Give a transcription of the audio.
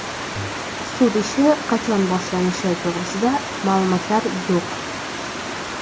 Sud ishi qachon boshlanishi to‘g‘risida ma’lumotlar yo‘q.